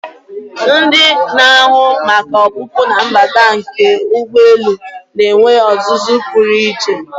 Ndị na-ahụ maka ọpụpụ na mbata nke ụgbọelu na-enwe ọzụzụ pụrụ iche.